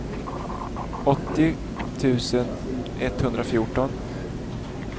åttio tusen etthundrafjorton